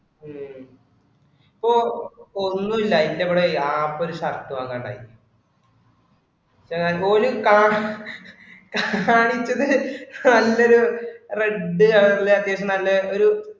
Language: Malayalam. ഉം ഇപ്പൊ ഒന്നും ഇല്ല എന്റെ ഇവിടെ App ഇൽ ഒരു shirt വാങ്ങുക ഉണ്ടായി. ഞാൻ ഒരു ക കാണിച്ചത് നല്ലൊരു red colour ഇലെ അത്യാവിശം നല്ല ഒരു